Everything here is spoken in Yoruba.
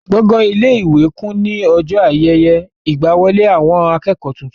Gbọ̀gán ilé-ìwé kún ní ọjọ́ ayẹyẹ ìgbàwọlé àwọn akẹ́kọ̀ọ́ tuntun.